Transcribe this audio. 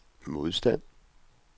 modstand